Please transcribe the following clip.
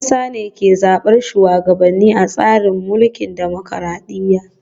Yan kasa ne ke zabar shugabanni a tsarin mulkin dimokuradiyya